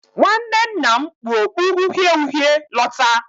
Nwanne nna m kpu okpu uhie uhie lọta.